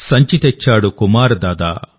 సంచి తెచ్చాడుకుమార్ దాదా